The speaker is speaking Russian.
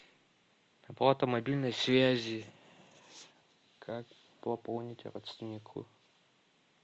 оплата мобильной связи как пополнить родственнику